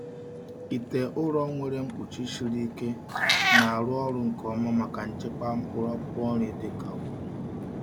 Ite ụrọ nwere mkpuchi siri ike na-arụ ọrụ nke ọma maka nchekwa mkpụrụ akwụkwọ nri dịka ugu.